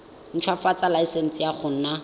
ntshwafatsa laesense ya go nna